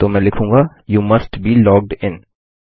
तो मैं लिखूँगा you must be logged in